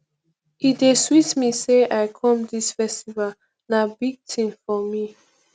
e dey sweet me say i come dis festival na big thing for me